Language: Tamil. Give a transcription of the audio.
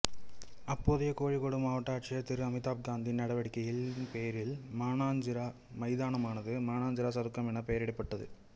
அப்போதைய கோழிக்கோடு மாவட்ட ஆட்சியர் திரு அமிதாப் காந்தின் நடவடிக்கையின் பேரில் மானாஞ்சிறா மைதானமானது மானாஞ்சிறா சதுக்கம் என்று பெயரிடப்பட்டது